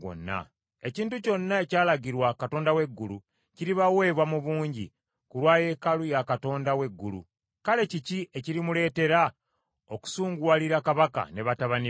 Ekintu kyonna ekyalagirwa Katonda w’eggulu, kiribaweebwa mu bungi, ku lwa yeekaalu ya Katonda w’eggulu. Kale kiki ekirimuleetera okusunguwalira kabaka ne batabani be?